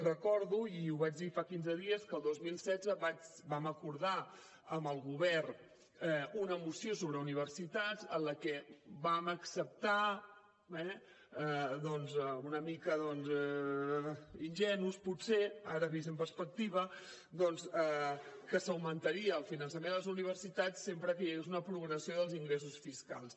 recordo i ho vaig dir fa quinze dies que el dos mil setze vam acordar amb el govern una moció sobre universitats en la que vam acceptar eh doncs una mica ingenus potser ara vist amb perspectiva que s’augmentaria el finançament a les universitats sempre que hi hagués una progressió dels ingressos fiscals